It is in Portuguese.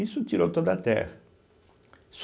Isso tirou toda a terra.